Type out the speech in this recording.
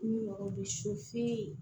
Ni mɔgɔ bɛ